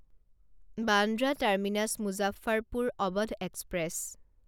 Bandra terminus Muzaffarpur Awadh express